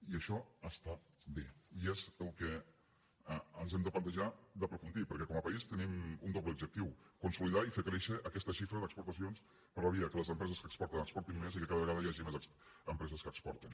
i això està bé i és el que ens hem de plantejar d’aprofundir perquè com a país tenim un doble objectiu consolidar i fer créixer aquesta xifra d’exportacions per la via que les empreses que exporten exportin més i que cada vegada hi hagi més empreses que exporten